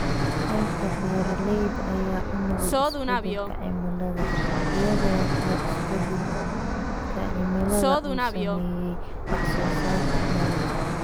Qaybta beeralayda ayaa u nugul isbeddelka cimilada, iyada oo isbeddelka cimilada uu saameeyay wax-soo-saarka dalagga.